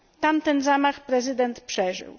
Tamten zamach prezydent przeżył.